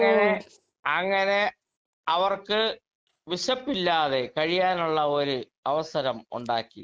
speaker 2 അങ്ങനെ അങ്ങനെ അവർക്ക് വിശപ്പില്ലാതെ കഴിയാനുള്ള ഒരു അവസരം ഉണ്ടാക്കി